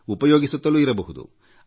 ಉಪಯೋಗಿಸುತ್ತಲೂ ಇರಬಹುದು